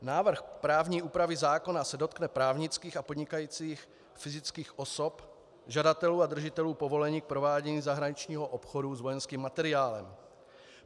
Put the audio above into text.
Návrh právní úpravy zákona se dotkne právnických a podnikajících fyzických osob, žadatelů a držitelů povolení k provádění zahraničního obchodu s vojenským materiálem.